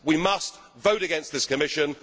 We must vote against this Commission.